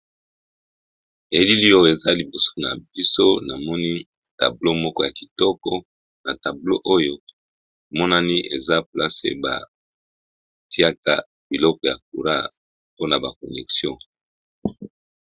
helili oyo eza liboso na biso na moni tablo moko ya kitoko na tablo oyo monani eza plase batiaka biloko ya coura mpona baconexion